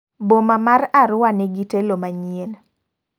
Boma mar Arua nigi telo manyien.